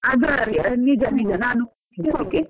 ನಿಜ ನಿಜ ನಾನ್ okay .